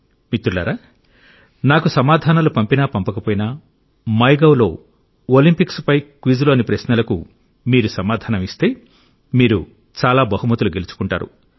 మిత్రులారా నాకు సమాధానాలు పంపినా పంపకపోయినా మైగవ్లో ఒలింపిక్స్పై క్విజ్లోని ప్రశ్నలకు మీరు సమాధానం ఇస్తే మీరు చాలా బహుమతులు గెలుచుకుంటారు